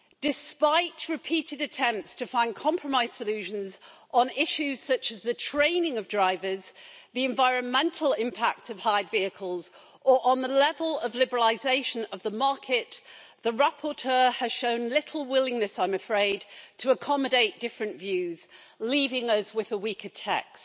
Despite repeated attempts to find compromise solutions on issues such as the training of drivers, the environmental impact of hired vehicles or on the level of liberalisation of the market, the rapporteur has shown little willingness, I'm afraid, to accommodate different views, leaving us with a weaker text.